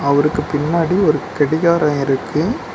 அவருக்கு பின்னாடி ஒரு கடிகாரோ இருக்கு.